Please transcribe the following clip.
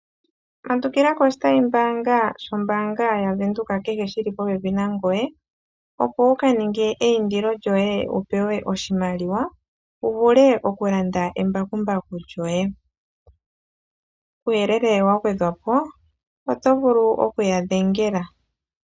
Tondokela koshitayimbaanga shombaanga yaVenduka kehe shili popepi nangoye opo wuka ninge eindilo lyoye wupewe oshimaliwa wuvule okulanda embakumbaku lyoye. Kuuyelele wagwedhwapo oto vulu okuya dhengela.